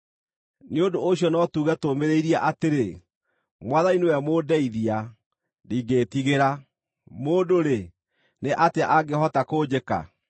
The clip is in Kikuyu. Nĩ ũndũ ũcio no tuuge tũũmĩrĩirie atĩrĩ, “Mwathani nĩwe mũndeithia; ndingĩĩtigĩra. Mũndũ-rĩ, nĩ atĩa angĩhota kũnjĩka?”